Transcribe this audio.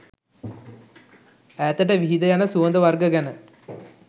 ඈතට විහිද යන සුවඳ වර්ග ගැන